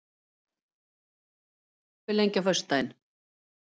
Júlli, hvað er opið lengi á föstudaginn?